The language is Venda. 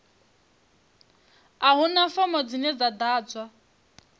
a huna fomo dzine dza ḓadzwa